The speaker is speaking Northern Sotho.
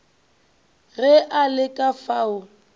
ge a le ka fao